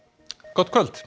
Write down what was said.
gott kvöld